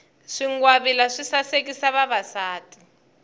swingwavila swi sasekisa vavasati